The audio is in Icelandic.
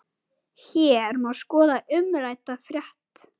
Hér má skoða umrædda frétt.